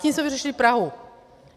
Tím jsme vyřešili Prahu.